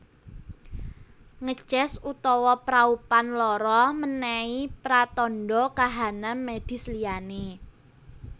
Ngeces utawa praupan lara menehi pratandha kahanan medis liyane